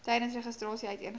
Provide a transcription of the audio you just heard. tydens registrasie uiteengesit